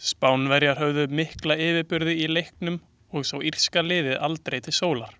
Spánverjar höfðu mikla yfirburði í leiknum og sá írska liðið aldrei til sólar.